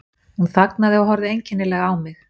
Hún þagnaði og horfði einkennilega á mig.